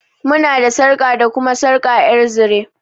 Muna da sarƙa da kuma sarƙa ƴar zire.